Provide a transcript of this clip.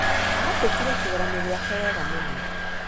Aandĩkire kĩgeranio gĩake wega mũno.